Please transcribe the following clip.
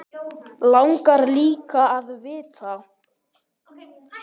Langar líka að vita.